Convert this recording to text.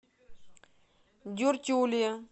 дюртюли